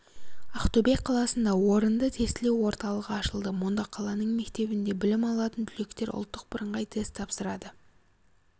ақтөбе қаласында орынды тестілеу орталығы ашылды мұнда қаланың мектебінде білім алатын түлектер ұлттық бірыңғай тест тапсырады